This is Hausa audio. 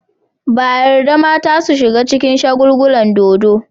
Ba a yarda mata su shiga cikin shagulgulan dodo.